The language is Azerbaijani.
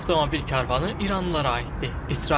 Bu avtomobil karvanı iranlılara aiddir.